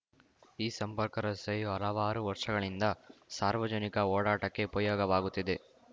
ಈ ಸಂಪರ್ಕ ರಸ್ತೆಯು ಹಲವಾರು ವರ್ಷಗಳಿಂದ ಸಾರ್ವಜನಿಕ ಓಡಾಟಕ್ಕೆ ಉಪಯೋಗವಾಗುತ್ತಿದೆ